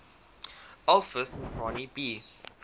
alpha centauri b